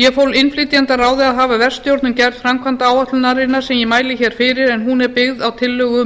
ég fól innflytjendaráði að hafa verkstjórn um gerð framkvæmdaáætlunarinnar sem ég mæli hér fyrir en hún er byggð á tillögu